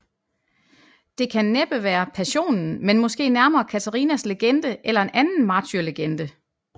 Det kan næppe være Passionen men måske nærmere Katarinas legende eller en anden martyrlegende